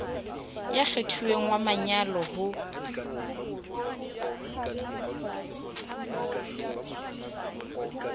ya kgethuweng wa manyalo ho